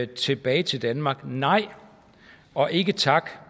tilbage til danmark skrev nej og ikke tak